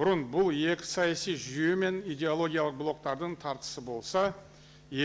бұрын бұл екі саяси жүйе мен идеологиялық блоктардың тартысы болса